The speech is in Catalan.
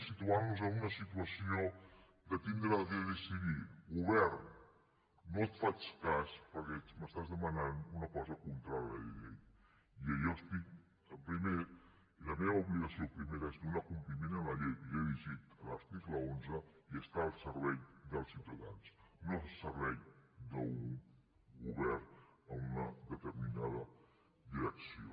i els situaria en una situació d’haver de decidir govern no et faig cas perquè m’estàs demanant una cosa contrària a la llei i la meva obligació primera és donar compliment a la llei que ja he llegit a l’article onze i estar al servei dels ciutadans no al servei d’un govern en una determinada direcció